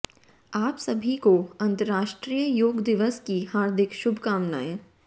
आप सभी को अंतर्राष्ट्रीय योग दिवस की हार्दिक शुभकामनाएँ